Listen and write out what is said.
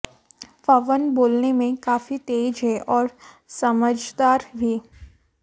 पवन बोलने में काफी तेज है और समझदार भी